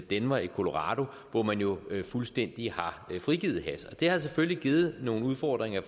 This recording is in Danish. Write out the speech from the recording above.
denver i colorado hvor man jo fuldstændig har frigivet hash det har selvfølgelig givet nogle udfordringer i